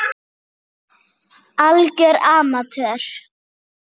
Algjör amatör.